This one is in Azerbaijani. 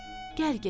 Gəl gedək.